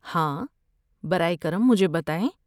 ہاں، برائے کرم مجھے بتائیں۔